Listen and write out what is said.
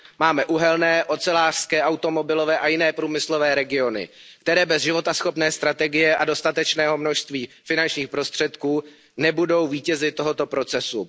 Máme uhelné, ocelářské, automobilové a jiné průmyslové regiony, které bez životaschopné strategie a dostatečného množství finančních prostředků nebudou vítězi tohoto procesu.